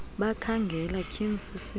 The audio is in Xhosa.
bakhangela tyhiinil sisilo